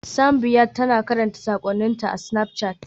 Simbiat tana karanta sakonninta a Snapchat.